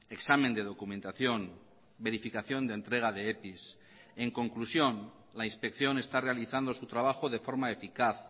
examen de documentación verificación de entrega de epis en conclusión la inspección está realizando su trabajo de forma eficaz